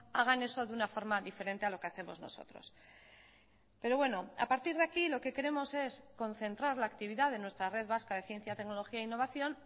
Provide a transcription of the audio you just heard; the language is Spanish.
hagan eso de una forma diferente a lo que hacemos nosotros pero bueno a partir de aquí lo que queremos es concentrar la actividad de nuestra red vasca de ciencia tecnología e innovación